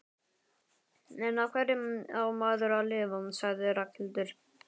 En á hverju á maður að lifa? sagði Ragnhildur.